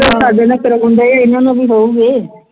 ਜੋ ਸਾਡੇ ਨਾਲ ਕਰਵਾਉਣ ਲਈ ਇਨ੍ਹਾਂ ਨੂੰ ਵੀ ਹੋਣਗੇ